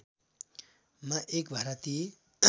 मा एक भारतीय